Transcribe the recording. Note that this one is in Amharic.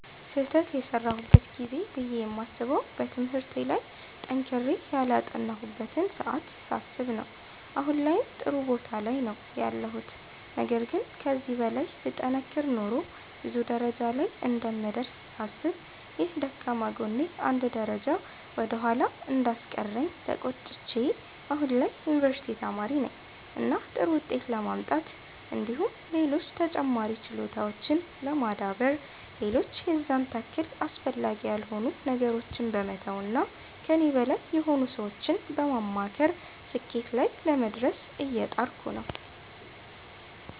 ስህተት የሰራሁበት ጊዜ ብዬ የማስበዉ በትምህርቴ ላይ ጠንክሬ ያላጠናሁበትን ሰዓት ሳስብ ነዉ አሁን ላይም ጥሩ ቦታ ላይ ነዉ ያለሁት ነገር ግን ከዚህ በላይ ብጠነክር ኖሮ ብዙ ደረጃ ላይ እንደምደርስ ሳስብ ይህ ደካማ ጎኔ አንድ ደረጃ ወደ ኋላ እንዳስቀረኝ ተቆጭቼ አሁን ላይ የዩኒቨርሲቲ ተማሪ ነኝ እና ጥሩ ዉጤት ለማምጣት እንዲሁም ሌሎች ተጨማሪ ችሎታዎችን ለማዳበር ሌሎች የዛን ታክል አስፈላጊ ያልሆኑ ነገሮችን በመተዉ እና ከኔ በላይ የሆኑ ሰዎችን በማማከር ስኬትና ላይ ለመድረስ እየጣርኩ ነዉ።